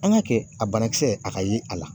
An ka kɛ, a banakisɛ a ka ye a la